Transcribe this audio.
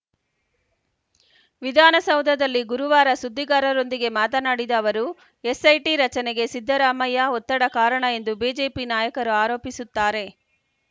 ವಿಧಾನಸೌಧದಲ್ಲಿ ಗುರುವಾರ ಸುದ್ದಿಗಾರರೊಂದಿಗೆ ಮಾತನಾಡಿದ ಅವರು ಎಸ್‌ಐಟಿ ರಚನೆಗೆ ಸಿದ್ದರಾಮಯ್ಯ ಒತ್ತಡ ಕಾರಣ ಎಂದು ಬಿಜೆಪಿ ನಾಯಕರು ಆರೋಪಿಸುತ್ತಾರೆ